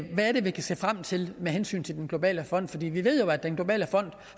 er vi kan se frem til med hensyn til den globale fond vi ved jo at den globale fond